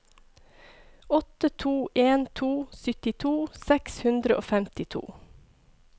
åtte to en to syttito seks hundre og femtito